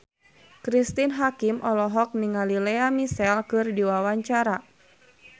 Cristine Hakim olohok ningali Lea Michele keur diwawancara